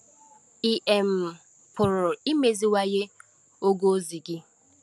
Ị̀ um pụrụ imeziwanye ogo ozi gị?